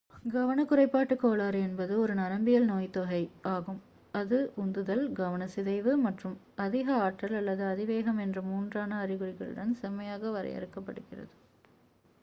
"கவனக் குறைபாட்டுக் கோளாறு என்பது "ஒரு நரம்பியல் நோய்த்தொகை ஆகும் அது உந்துதல் கவனச் சிதைவு மற்றும் அதிக ஆற்றல் அல்லது அதிவேகம் என்ற மூன்றான அறிகுறிகளுடன் செம்மையாக வரையறுக்கப் படுகிறது"".